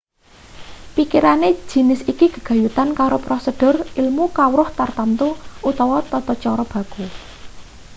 pikirane jinis iki gegayutan karo prosedur ilmu kawruh tartamtu utawa tata cara baku